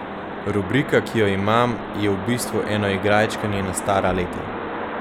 Rubrika, ki jo imam, je v bistvu eno igračkanje na stara leta.